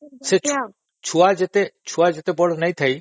ସେ ଛୁଆ ଯେତେ ବଡ ନୁହଁ